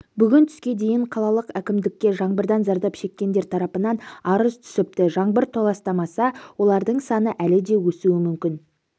бүгін түске дейін қалалық әкімдікке жаңбырдан зардап шеккендер тарапынан арыз түсіпті жаңбыр толастамаса олардың саны әлі де өсуі мүмкін